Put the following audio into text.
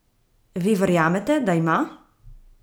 Vi verjamete, da ima?